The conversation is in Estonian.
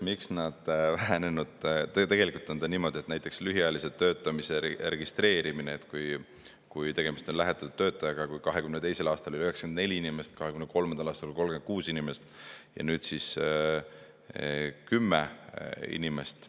Tegelikult on niimoodi, et näiteks lühiajalise töötamise registreerimise järgi, kui tegemist on lähetatud töötajaga, 2022. aastal oli 94 inimest, 2023. aastal 36 inimest ja nüüd siis 10 inimest.